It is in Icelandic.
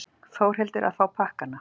Þórhildur: Að fá pakkana?